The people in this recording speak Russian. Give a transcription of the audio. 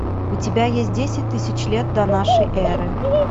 у тебя есть десять тысяч лет до нашей эры